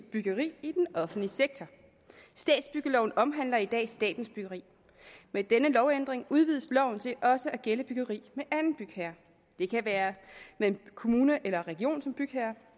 byggeri i den offentlige sektor statsbyggeloven omhandler i dag statens byggeri med denne lovændring udvides loven til også at gælde byggeri med anden bygherre det kan være med en kommune eller en region som bygherre